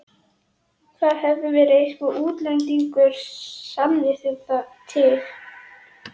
Það hefur verið einhver útlendingurinn, sannið þið til.